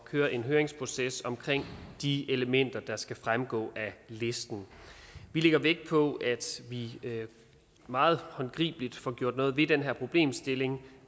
køre en høringsproces omkring de elementer der skal fremgå af listen vi lægger vægt på at vi meget håndgribeligt får gjort noget ved den her problemstilling